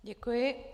Děkuji.